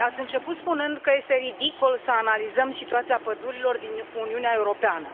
Ați început spunând că este ridicol să analizăm situația pădurilor din Uniunea Europeană.